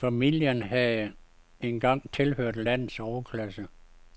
Familien havde engang tilhørt landets overklasse.